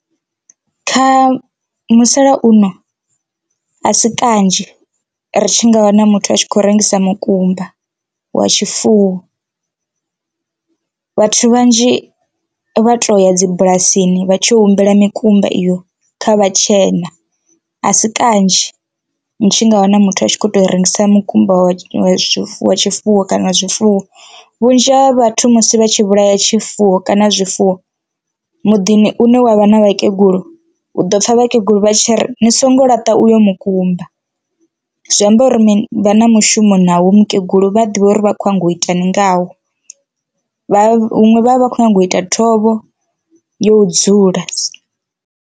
Kha musalauno a si kanzhi ri tshi nga wana muthu a tshi khou rengisa mukumba wa tshifuwo vhathu vhanzhi vha to ya dzi bulasini vha tshi ya u humbela mikumba iyo kha vhatshena, a si kanzhi ndi tshi nga wana muthu a tshi kho to rengisa mukumba wa wa zwifuwo tshifuwo kana zwifuwo. Vhunzhi ha vhathu musi vha tshi vhulaya tshifuwo kana zwifuwo muḓini une wavha na vhakegulu u ḓo pfha vha kegula vha tshi ri ni songo laṱa uyo mukumba, zwi amba uri vha na mushumo na wo mukegulu vha a ḓivha uri vha khou nyanga u ita ni ngawo vha huṅwe vhavha vha khou nyanga u ita thovho yo dzula.